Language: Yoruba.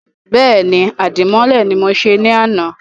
Bẹ́ẹ̀ni, Àdìmọ́lẹ̀ ni mọ se ní àná